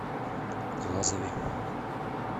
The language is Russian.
глазове